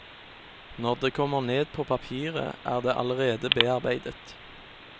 Når det kommer ned på papiret, er det allerede bearbeidet.